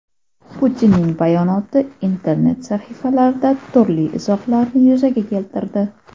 Putinning bayonoti internet sahifalarida turli izohlarni yuzaga keltirdi.